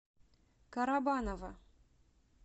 карабаново